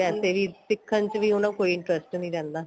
ਵੈਸੇ ਵੀ ਸਿੱਖਣ ਚ ਉਹਨੂੰ ਕੋਈ interest ਨੀਂ ਰਹਿੰਦਾ